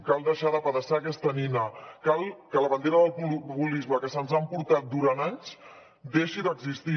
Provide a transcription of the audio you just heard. cal deixar d’apedaçar aquesta nina cal que la bandera del populisme que se’ns ha emportat durant anys deixi d’existir